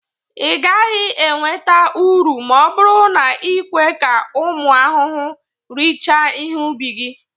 ị gaghị enweta uru ma ọ bụrụ na i kwe ka ụmụ ahụhụ richaa ihe ubi gị.